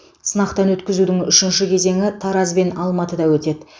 сынақтан өткізудің үшінші кезеңі тараз бен алматыда өтеді